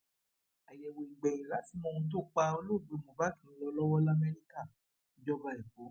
àyẹwò ìgbẹyìn láti mọ ohun tó pa olóògbé mohbak ń lọ lọwọ lamẹríkà ìjọba ẹkọ